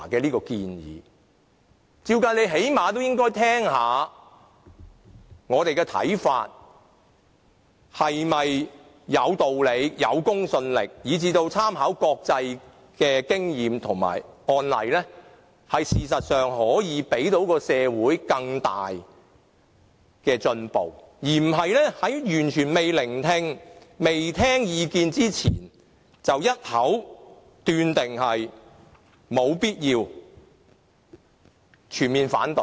理論上，官員最低限度要聆聽議員的看法是否有道理、有公信力，以及參考國際的經驗和案例，這樣才可以令社會有更大的進步；而不是在完全未聆聽意見的情況下，便一口斷定立法會沒有必要展開調查，並全面反對。